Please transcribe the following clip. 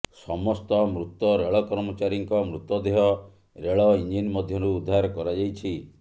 ସମସ୍ତ ମୃତ ରେଳକର୍ମଚାରୀଙ୍କ ମୃତଦେହ ରେଳ ଇଞ୍ଜିନ ମଧ୍ୟରୁ ଉଦ୍ଧାର କରାଯାଇଛି